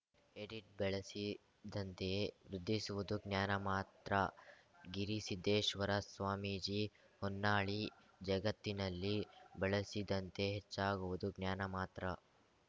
edit ಬಳಸಿದಂತೆಯೇ ವೃದ್ಧಿಸುವುದು ಜ್ಞಾನಮಾತ್ರ ಗಿರಿಸಿದ್ದೇಶ್ವರ ಸ್ವಾಮೀಜಿ ಹೊನ್ನಾಳಿ ಜಗತ್ತಿನಲ್ಲಿ ಬಳಸಿದಂತೆ ಹೆಚ್ಚಾಗುವುದು ಜ್ಞಾನ ಮಾತ್ರ